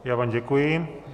Já vám děkuji.